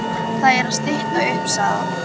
Það er að stytta upp, sagði hann.